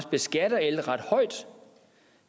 beskatter el ret højt